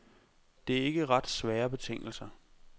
Det er ikke ret svære betingelser.